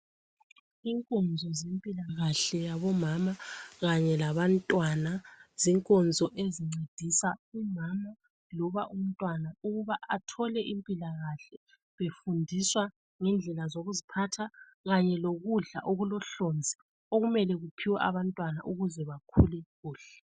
inkonzo zempilakahle yabomama kanye labantwana zinkonzo ezincedisa umama loba umntwana ukuba athole impilakahle efundiswa ngendlela zokuziphatha kanye lokudla okulohlonzi okumele kuphiwe abantwana ukuze bakhule kuhle